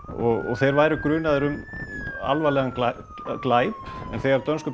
þeir væru grunaðir um alvarlegan glæp þegar dönsku